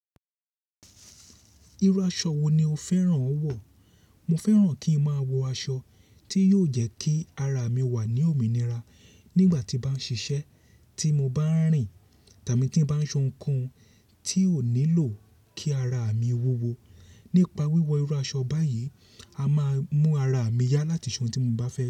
Irú aṣọ wo ni o fẹ́ràn ó wọ̀? Mo fẹ́ràn kí ń máa wọ aṣọ tí yóò jẹ́ kí ara mi wà ní òmìnira nígbà tí bá ń ṣiṣẹ́, tí mo bá ń rìn tàbí tí ń bá ń ṣe ohunkóhun tí ó nílò kí ara mi wúwo. Nípa wíwo irú aṣọ báyìí, a máa mú ara mi yá láti se ohun tí mo bá fẹ́